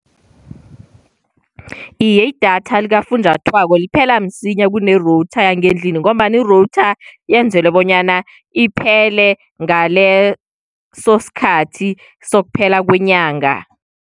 Iye, idatha likafunjathwako liphela msinya kune-router yangendlini, ngombana i-router yenzelwe bonyana iphele ngaleso sikhathi sokuphela kwenyanga.